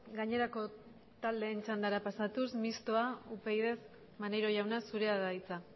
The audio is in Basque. gainerako taldeen txandara pasatuz mistoa upyd maneiro jauna zurea da hitza